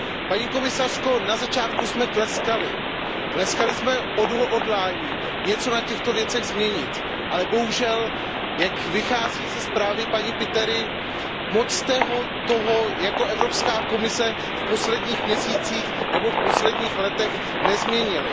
Paní komisařko, na začátku jsme tleskali, tleskali jsme odhodlání něco na těchto věcech změnit, ale bohužel, jak vychází ze zprávy paní Pitery, moc jste toho jako Evropská komise v posledních měsících nebo v posledních letech nezměnili.